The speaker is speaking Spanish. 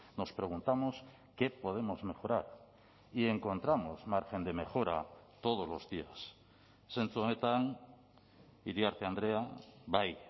nos preguntamos qué podemos mejorar y encontramos margen de mejora todos los días zentzu honetan iriarte andrea bai